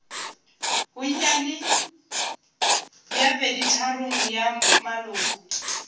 bonnyane bja peditharong ya maloko